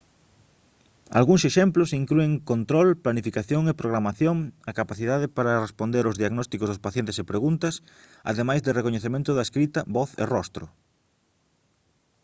algúns exemplos inclúen control planificación e programación a capacidade para responder aos diagnósticos dos pacientes e preguntas ademais de recoñecemento da escrita voz e rostro